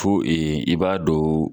Fo i b'a don